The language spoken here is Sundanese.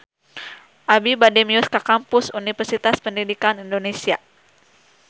Abi bade mios ka Kampus Universitas Pendidikan Indonesia